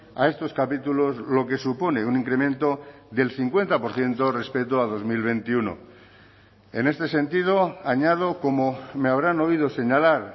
a estos capítulos lo que supone un incremento del cincuenta por ciento respecto a dos mil veintiuno en este sentido añado como me habrán oído señalar